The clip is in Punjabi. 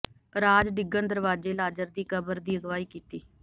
ਰਾਜ਼ ਡਿੱਗਣ ਦਰਵਾਜ਼ੇ ਲਾਜ਼ਰ ਦੀ ਕਬਰ ਦੀ ਅਗਵਾਈ ਕੀਤੀ